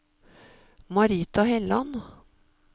Marita Helland